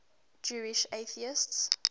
jewish atheists